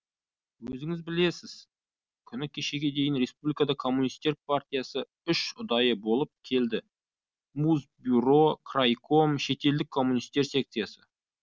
өзіңіз білесіз күні кешеге дейін республикада коммунистер партиясы үш ұдай болып келді мусбюро крайком шетелдік коммунистер секциясы